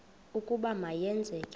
ukuba ma yenzeke